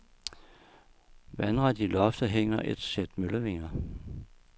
Vandret i loftet hænger et sæt møllevinger.